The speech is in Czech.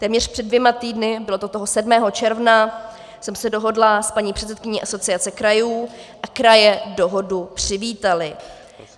Téměř před dvěma týdny, bylo to toho 7. června, jsem se dohodla s paní předsedkyní Asociace krajů a kraje dohodu přivítaly.